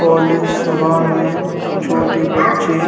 college सभा में छोटे बच्चे --